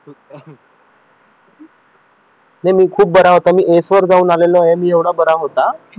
नाही मी खूप बरा होतो मी एस वर जाऊन आलो आहे मी एवढा बरा होतो